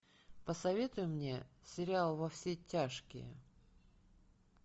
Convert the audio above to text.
посоветуй мне сериал во все тяжкие